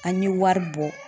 An ye wari bɔ.